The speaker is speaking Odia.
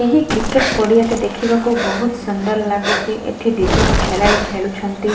ଏହି କ୍ରିକେଟ୍ ପଡିଆ ଟି ଦେଖିବାକୁ ବହୁତ ସୁନ୍ଦର ଲାଗୁଛି ଏଠି ଦି ଜଣ ଖେଳାଳି ଖେଳାଳି ଖେଳୁଛନ୍ତି।